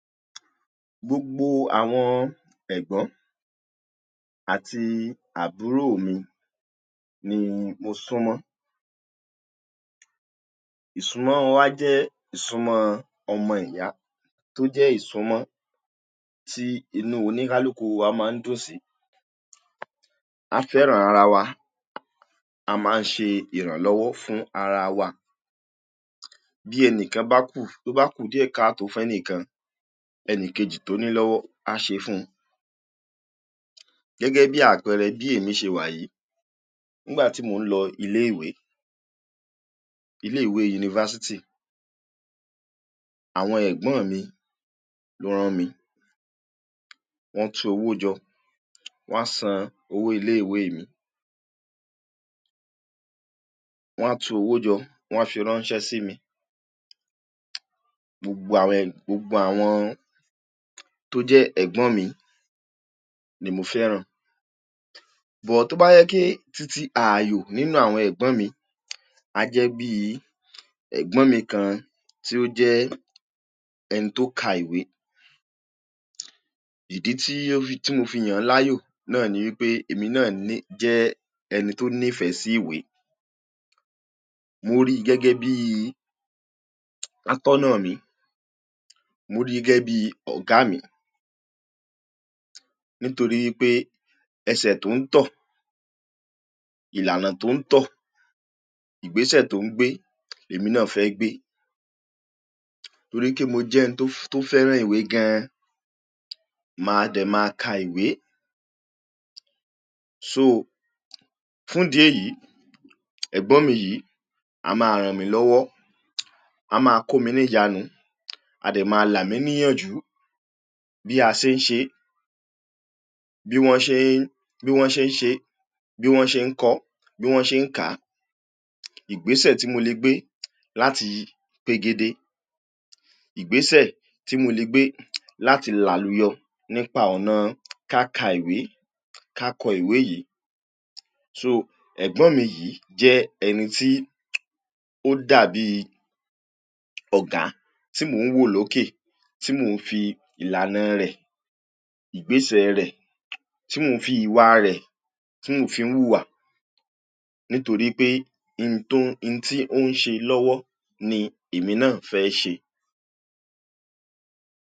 Gbogbo àwọn ẹ̀gbọ́n àti àbúrò mi ni mo súnmọ́. Ìsúnmọ́ wọn wáà jẹ́ ìsúnmọ́ ọmọ ìyá tó jẹ́ ìsúnmọ́ tí inú onígalúkú a máa ń tọ́ sí. A fẹ́ràn ara wa, a máa ń ṣe ìrànlọwọ́ fún ara wa. Bí ẹnìkan bá kú, tó bá kú díẹ̀ ká tó fọ́ ẹnìkan, ẹnìkejì tó ní owó á ṣe fún un. Gẹ́gẹ́ bí àpẹẹrẹ bí èmi ṣe wà yìí, nígbà tí mò ń lọ ilé-ìwé, ilé-ìwé yúnìfásítì, àwọn ẹ̀gbọ́n mi ló ràn mí. Wọ́n tú owó jọ, wọ́n san owó ilé-ìwé mi. Wọ́n a tú owó jọ, wọ́n a fi ránṣẹ́ sí mi. Gbogbo àwọn, gbogbo àwọn tó jẹ́ ẹ̀gbọ́n mi ni mo fẹ́ràn. But tó ba je wipe titi ààyò nínú àwọn ẹgbọn mi, a jẹ bí ẹgbọn mi kan tí ó jẹ ẹni tó ka ìwé, ìdì tí mo fi yán láyò náà ní pé èmi náà ni, jẹ ẹni tó nífẹ sí ìwé. Mo rí gẹ́gẹ́ bí àtọ́ná mí. Mo rí gẹ́gẹ́ bí ọ̀gá mi. Nítorí pé ẹsẹ̀ tó ń tọ̀, ìlànà tó ń tọ̀, ìgbésẹ̀ tó ń gbé, èmi náà fẹ́ gbé. Torí pe mo jẹ ẹni tó fẹ́ràn ìwé gan, máa dẹ máa ka ìwé. So, fun dé yìí, ẹgbọn mi yìí a maa ràn mí lowọ́, a máa kò mí ní ìjanu, a dẹ máa là mí níyànjú bí àṣeyńṣe, bí wọn ṣe n, bí wọn ṣe n ṣe, bí wọn ṣe n kọ, bí wọn ṣe n ká. Ìgbésẹ̀ tí mo le gbé láti gbegede, ìgbésẹ̀ tí mo le gbé láti làlúyọ nípa ọ̀nà ká ka ìwé, ká kò ìwé yìí. So, ẹgbọn mi yìí jẹ ẹni tí ó dàbí ọ̀gá tí mo ń wó lókè, tí mo ń fi ìlànà rẹ̀, ìgbésẹ̀ rẹ̀, tí mo n fi iwa rẹ̀ tí mo fi ń wúwa nítorí pé ń tó, ń tí ó n ṣe lọ́wọ́ ni èmi náà fẹ́ ṣe.